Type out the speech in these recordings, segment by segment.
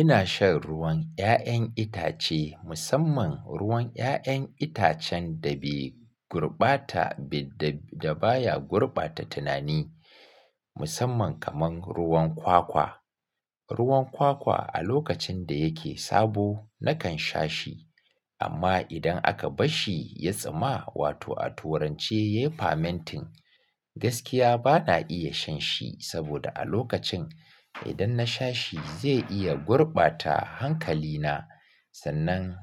Ina shan ruwan 'ya'yan itace musamman ruwan 'ya'yan itacen da bai gurbata da baya gurbata tunani musamman kamar ruwan kwakwa. Ruwan kwakwa a lokacin da yake sabo nakan sha shi amma idan aka basshi ya tsama wato a turance yafi mentin gaskiya bana iya shan shi saboda a lokacin idan na sha shi zai iya gurbata hankalina sannan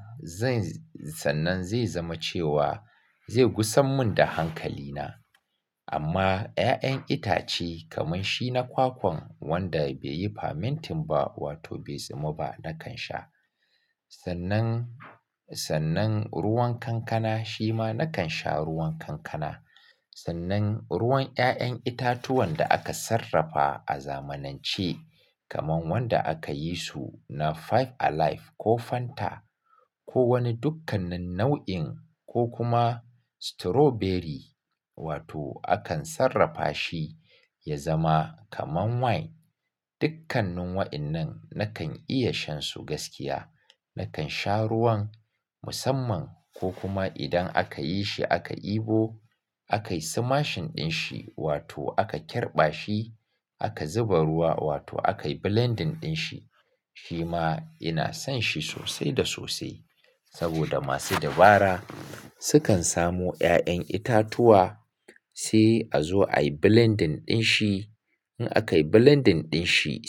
zai zama cewa zai gusar mun da hankalina. Amma 'ya'yan itace kaman shi na kwakwan wanda bai yi fermenting ba wato bai tsama ba nakan sha. Sannan, sannan ruwan kankana shima nakan sha ruwan kankana. Sannan ruwan 'ya'yan itatuwan da aka sarrafa a zamanance kaman wanda aka yi su na Five Alive ko Fanta ko wani dukkanin nau'in ko kuma strawberry wato akan sarrafa shi ya zama kaman wine dukkanin wa'innan nakan iya shan su gaskiya. Nakan sha ruwan musamman ko kuma idan aka yi shi aka ɗebo akayi smashing din shi wato aka kirɓa shi aka zuba ruwa wato aka yi blending din shi shima ina son shi sosai da sosai saboda masu dabara sukan samu 'ya'yan itatuwa sai a zo ayi blending din shi in aka yi blending din shi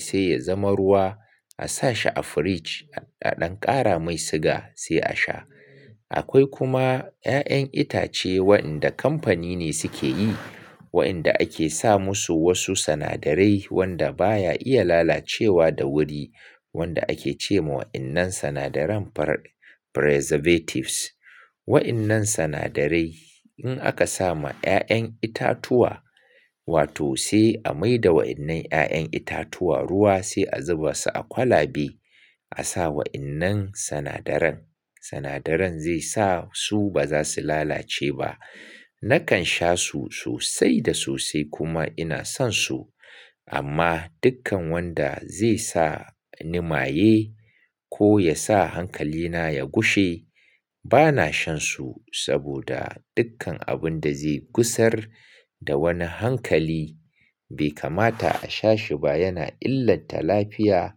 sai ya zama ruwa a sa shi a fridge a ɗan ƙara mai siga sai a sha. Akwai kuma 'ya'yan itace wa'inda kamfani ne suke yi wa'inda ake sa musu wasu sinadarai wanda baya iya lalacewa da wuri wanda ake ce ma wa'innan sinadaran preservatives. Wa'innan sinadarai in aka sa ma 'ya'yan itatuwa wato sai a maida wa'innan 'ya'yan itatuwa ruwa sai a zuba su a kwalabe a sa wa'innan sinadaran. Sinadaran zai sa su ba za su lalace ba. Nakan sha su sosai da sosai kuma ina son su amma dukkan wanda zai sa ni maye ko yasa hankalina ya gushe bana shan su saboda dukkan abun da zai gusar da wani hankali bai kamata a sha shi ba yana illanta lafiya.